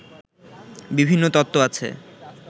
বিভিন্ন তত্ত্ব আছে